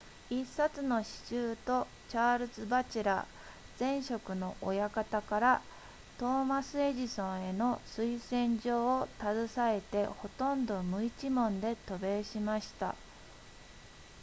1冊の詩集とチャールズバチェラー前職の親方からトーマスエジソンへの推薦状を携えてほとんど無一文で渡米しました